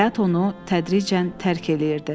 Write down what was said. Həyat onu tədricən tərk eləyirdi.